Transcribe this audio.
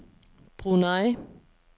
Brunei